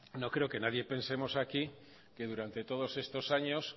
no no creo que nadie pensemos aquí que durante todos estos años